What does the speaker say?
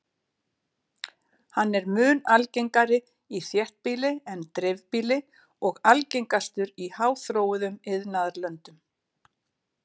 Hann er mun algengari í þéttbýli en dreifbýli og algengastur í háþróuðum iðnaðarlöndum.